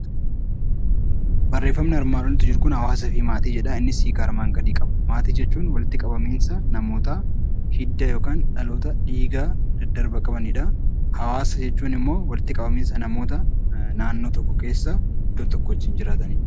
Barreeffamni armaan olitti jiru kun 'Hawaasaa fi Maatii' jedha. Innis hiika armaan gadii qaba. Maatii jechuun walitti qabamiinsa namoota hidda yookaan dhaloota dhiiga daddarba qabani dha. Hawaasa jechuun immoo walitti qabamiinsa namoota naannoo tokko keessa iddoo tokko wajjin jiraatan dha.